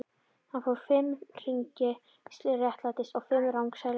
Hann fór fimm hringi réttsælis og fimm rangsælis.